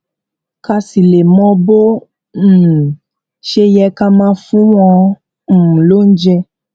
ká sì lè mọ bó um ṣe yẹ ká máa fún wọn um lóúnjẹ